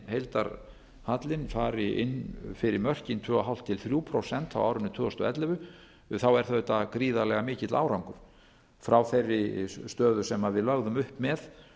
að heildarhallinn fari inn fyrir mörkin tvö og hálft til þrjú prósent á árinu tvö þúsund og ellefu er það auðvitað gríðarlega mikill árangur frá þeirri stöðu sem við lögðum upp með